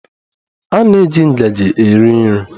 A na-eji ngaji eri nri.